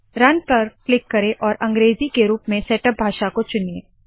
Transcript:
run पर click करे और अंग्रेज़ी के रूप में सेटअप भाषा को चुनिए